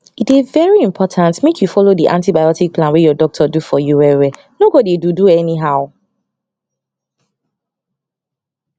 e dey very important make you follow the antibiotic plan wey your doctor do for you well well no go dey do do anyhow